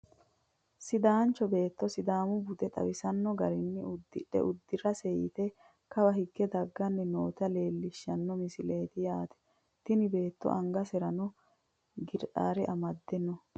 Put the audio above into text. sidaancho beetto sidaamu bude xawisanno garinni uddira uddiraansi yite kawa higge dagganni noota leelishshano misileeti yaate, tini beetto angaserano gereere amadde no.